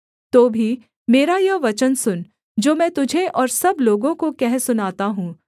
तो भी मेरा यह वचन सुन जो मैं तुझे और सब लोगों को कह सुनाता हूँ